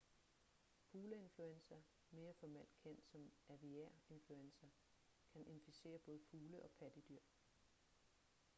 fugleinfluenza mere formelt kendt som aviær influenza kan inficere både fugle og pattedyr